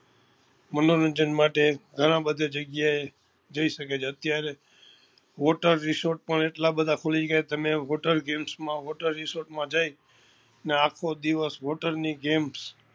મનોરંજ માટે ગણા બધા જગ્યા એ જી શકે છે અત્યારે water resort પણ એટલા બધા ખુલી ગયા તમે water games માં water resort માં જઈ ને આખો દિવસ water ની games